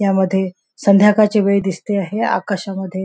यामध्ये संध्याकाळची वेळ दिसते आहे आकाशामध्ये--